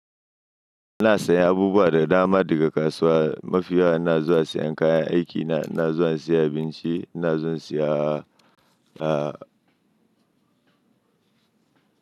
Ina sayan abubuwa da dama daga kasuwa. Mafi yawa ina zuwa sayan kayan aiki na, ina zuwa sayan abinci, ina zuwa saya a a a.